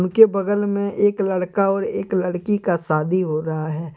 उनके बगल मे एक लड़का और एक लड़की का शादी हो रहा है।